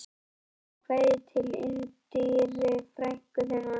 Skilaðu kveðju til Indíru, frænku þinnar